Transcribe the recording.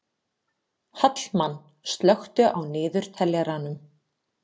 Hallmann, slökktu á niðurteljaranum.